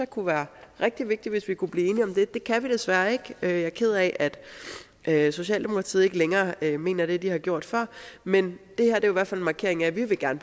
kunne være rigtig vigtigt hvis vi kunne blive enige om det men det kan vi desværre ikke jeg er ked af at socialdemokratiet ikke længere mener det de har gjort før men det her er i hvert fald en markering af at vi gerne